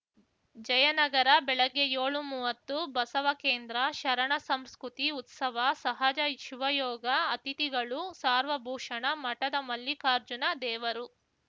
ಜಯನಗರ ಬೆಳಗ್ಗೆ ಯೋಳುಮುವ್ವತ್ತು ಬಸವಕೇಂದ್ರ ಶರಣಸಂಸ್ಕೃತಿ ಉತ್ಸವ ಸಹಜ ಶಿವಯೋಗ ಅತಿಥಿಗಳು ಸಾರ್ವಭೂಷಣ ಮಠದ ಮಲ್ಲಿಕಾರ್ಜುನ ದೇವರು